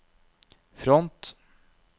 front